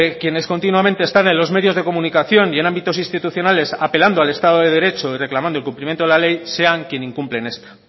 que quienes continuamente están en los medios de comunicación y en ámbitos institucionales apelando al estado de derecho y reclamando el cumplimiento de la ley sean quien incumplen esta